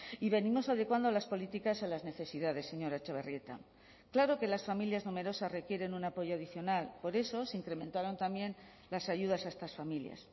y venimos adecuando las políticas a las necesidades señora etxebarrieta claro que las familias numerosas requieren un apoyo adicional por eso se incrementaron también las ayudas a estas familias